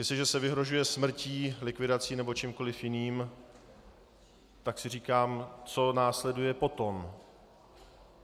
Jestliže se vyhrožuje smrtí, likvidací nebo čímkoliv jiným, tak si říkám, co následuje potom.